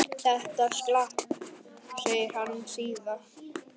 Þetta slapp, segir hann síðan.